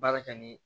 Baara kɛ ni